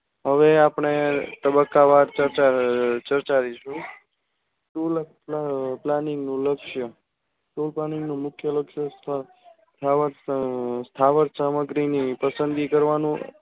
હવે આપણે તબ્બકા વાર ચર્ચા ચર્ચારીશું tool panning નું લક્ષ tool planning નું મુખ્ય લક્ષ સ્થાવર સામગ્રી ની પસંદગી કરવાનું